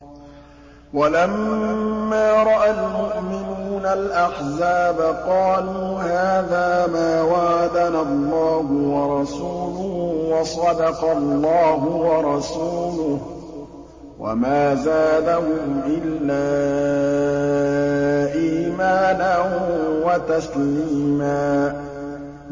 وَلَمَّا رَأَى الْمُؤْمِنُونَ الْأَحْزَابَ قَالُوا هَٰذَا مَا وَعَدَنَا اللَّهُ وَرَسُولُهُ وَصَدَقَ اللَّهُ وَرَسُولُهُ ۚ وَمَا زَادَهُمْ إِلَّا إِيمَانًا وَتَسْلِيمًا